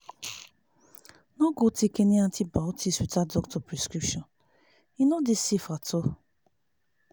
no go take any antibiotics without doctor prescription e no dey safe at all